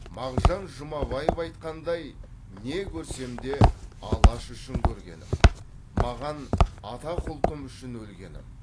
мағжан жұмабаев айтқандай не көрсем де алаш үшін көргенім маған атақ ұлтым үшін өлгенім